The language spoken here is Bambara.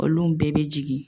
Olum bɛɛ be jigin